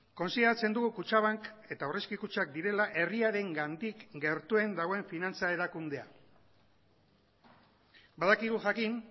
kontsideratzen dugu kutxabank eta aurrezki kutxak direla herriarengandik gertuen dagoen finantza erakundea badakigu jakin